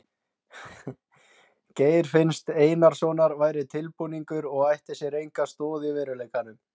Geir finns Einarssonar væri tilbúningur og ætti sér enga stoð í veruleikanum.